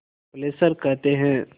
Fessler कहते हैं